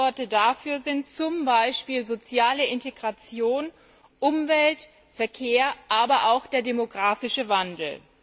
Stichworte dafür sind zum Beispiel soziale Integration, Umwelt, Verkehr, aber auch der demographische Wandel.